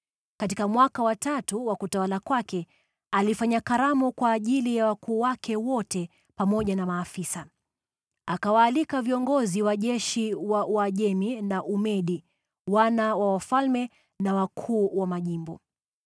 Katika mwaka wa tatu wa utawala wake, alifanya karamu kwa ajili ya wakuu wake wote pamoja na maafisa. Akawaalika viongozi wa jeshi wa Uajemi na Umedi, wana wa wafalme na wakuu wa majimbo.